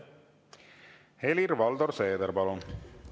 Helir-Valdor Seeder, palun!